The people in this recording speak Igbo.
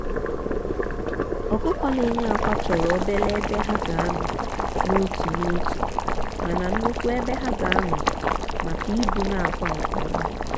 ọkụkọ na enye akwa chọrọ obele ebe ha ga anọ n'otu n'otu mana nnukwu ebe ha ga anọ maka ibuna akwa nke ọma.